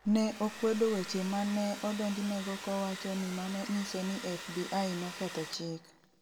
Ne okwedo weche ma ne odonjnego kowacho ni mano nyiso ni FBI noketho chik.